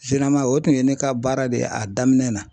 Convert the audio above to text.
o tun ye ne ka baara de ye a daminɛn na.